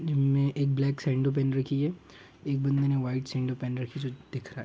जिन्होंने black sando पहन रखी है एक बंदे ने व्हाइट सैंडो पहन रखी है जो दिख रहा हैं।